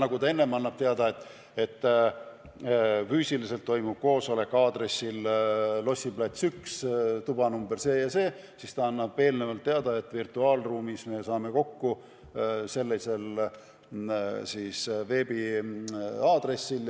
Seni ta on andnud teada, et koosolek toimub aadressil Lossi plats 1a, tuba number see ja see, edaspidi ta annab eelnevalt teada, et virtuaalruumis me saame kokku sellisel veebiaadressil.